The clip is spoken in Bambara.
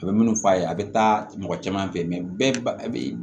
A bɛ minnu fɔ a ye a bɛ taa mɔgɔ caman fɛ bɛɛ ba a bɛ